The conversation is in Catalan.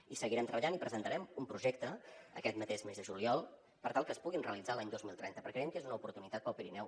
hi seguirem treballant i presentarem un projecte aquest mateix mes de juliol per tal que es puguin realitzar l’any dos mil trenta perquè creiem que és una oportunitat per al pirineu